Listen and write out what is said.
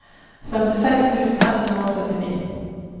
førtiseks tusen ett hundre og syttini